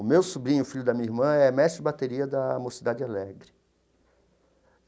O meu sobrinho, filho da minha irmã, é mestre de bateria da Mocidade Alegre.